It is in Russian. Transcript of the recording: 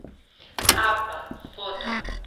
абба фото